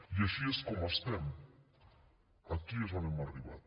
i així és com estem aquí és on hem arribat